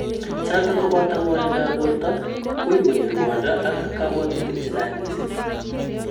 Chotok kobato ngw'anindo ab borto, uii konyoo rwondo ak kabwatutik chechang misiing